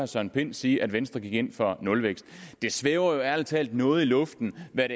søren pind sige at venstre gik ind for nulvækst det svæver jo ærlig talt noget i luften hvad